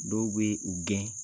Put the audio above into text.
Dɔw bɛ u gɛn.